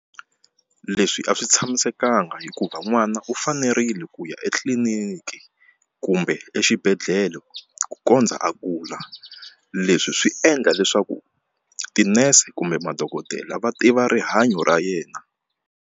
Leswi a swi tshamisekanga hikuva n'wana u fanerile ku ya etliliniki kumbe exibedhlele ku kondza a kula leswi swi endla leswaku tinese kumbe madokodela va tiva rihanyo ra yena.